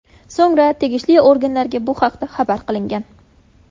So‘ngra tegishli organlarga bu haqda xabar qilingan.